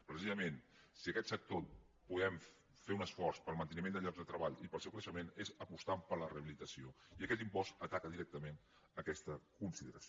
precisament si en aquest sector podem fer un esforç per al manteniment de llocs de treball i per al seu creixement és apostant per la rehabilitació i aquest impost ataca directament aquesta consideració